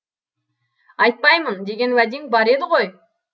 айтпаймын деген уәдең бар еді ғой